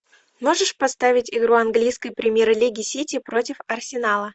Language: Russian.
можешь поставить игру английской премьер лиги сити против арсенала